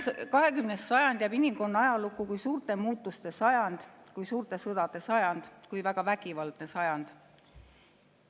20. sajand jääb inimkonna ajalukku kui suurte muutuste sajand, kui suurte sõdade sajand, kui väga vägivaldne sajand.